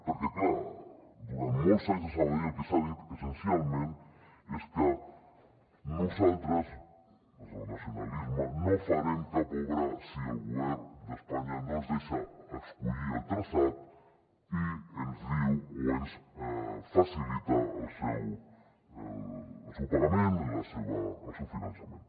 perquè clar durant molts anys a sabadell el que s’ha dit essencialment és que nosaltres des del nacionalisme no farem cap obra si el govern d’espanya no ens deixa escollir el traçat i ens diu o ens facilita el seu pagament el seu finançament